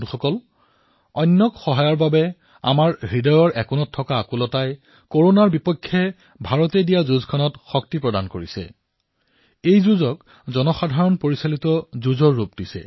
বন্ধুসকল আনৰ সহায়ৰ বাবে আপোনাৰ হৃদয়ত যি এটা আলোড়নৰ ভাৱ সৃষ্টি হয় সেয়াই কৰোনাৰ বিৰুদ্ধে ভাৰতৰ এই যুদ্ধক শক্তি প্ৰদান কৰে সেয়াই এই যুদ্ধক প্ৰকৃতাৰ্থত জনসাধাৰণৰ যুদ্ধ কৰি তোলে